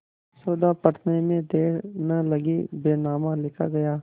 सौदा पटने में देर न लगी बैनामा लिखा गया